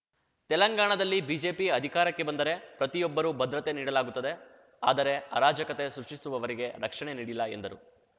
ತೆಲಂಗಾಣದಲ್ಲಿ ಬಿಜೆಪಿ ಅಧಿಕಾರಕ್ಕೆ ಬಂದರೆ ಪ್ರತಿಯೊಬ್ಬರು ಭದ್ರತೆ ನೀಡಲಾಗುತ್ತದೆ ಆದರೆ ಅರಾಜಕತೆ ಸೃಷ್ಟಿಸುವವರಿಗೆ ರಕ್ಷಣೆ ನೀಡಿಲ್ಲ ಎಂದರು